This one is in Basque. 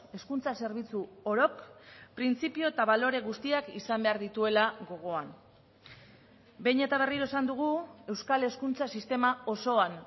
hezkuntza zerbitzu orok printzipio eta balore guztiak izan behar dituela gogoan behin eta berriro esan dugu euskal hezkuntza sistema osoan